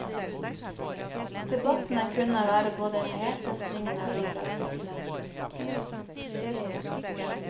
Debattene kunne være både hete, springende og vidløftige.